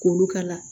K'olu kala